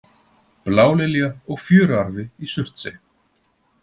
Blálilja og fjöruarfi í Surtsey.